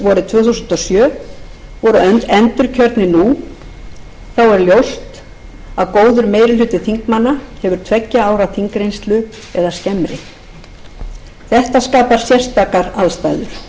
tvö þúsund og sjö voru endurkjörnir nú þá er ljóst að góður meiri hluti þingmanna hefur tveggja ára þingreynslu eða skemmri þetta skapar sérstakar aðstæður í slíkri endurnýjun felast mörg